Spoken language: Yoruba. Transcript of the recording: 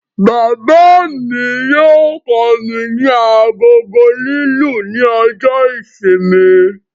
Bàbá mí yóò kọ mí ní agogo lilu ní ọjọ ìsinmi